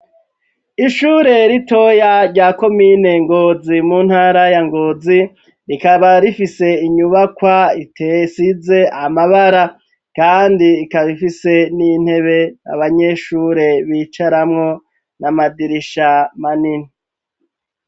Ishure ritoya rya komine Ngozi mu ntara ya Ngozi, rikaba rifise inyubakwa isize amabara, kandi ikaba ifise n'intebe abanyeshure bicaramwo n'amadirisha manini.